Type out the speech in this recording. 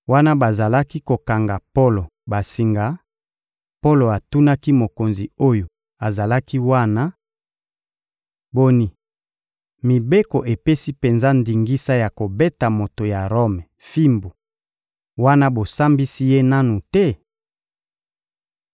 Wana bazalaki kokanga Polo basinga, Polo atunaki mokonzi oyo azalaki wana: — Boni, mibeko epesi penza ndingisa ya kobeta moto ya Rome fimbu, wana bosambisi ye nanu te?